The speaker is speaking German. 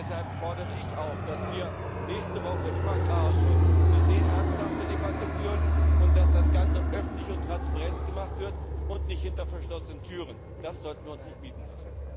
Deshalb fordere ich dazu auf, dass wir nächste Woche im Agrarausschuss eine sehr ernsthafte Debatte führen und dass das Ganze öffentlich und transparent gemacht wird und nicht hinter verschlossenen Türen stattfindet. Das sollen wir uns nicht bieten lassen.